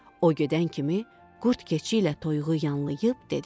O gedən kimi, qurd keçi ilə toyuğu yanlayıb dedi.